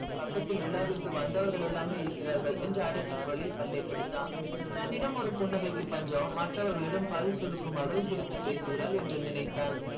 பக்கத்தில் விழாவிற்கு வந்தவங்க எல்லாருமே இருக்கிறார்கள் அடக்கிய குரலில் பல்லை கடித்தான் தம்மிடம் ஒரு புன்னகைக்கு பஞ்சம் மற்றவர்களிடம் பல் சுளுக்கும் அளவிற்கு சிரித்து பேசுகின்றாள் என்று நினைத்தான்.